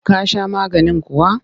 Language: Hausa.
Ka sha maganin kuwa?